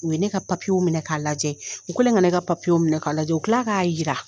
U ye ne ka minɛ k'a lajɛ, u kɛlɛn kan ne ka minɛ k'a lajɛ u kila k'a yira.